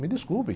Me desculpem.